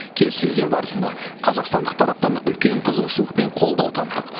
келіссөздер барысында қазақстандық тараптан үлкен қызығушылық пен қолдау таптық